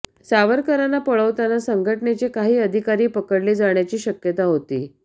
सावरकरांना पळवताना संघटनेचे काही अधिकारी पकडले जाण्याची शक्यता होती